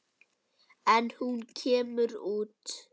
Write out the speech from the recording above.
En hún kemur út.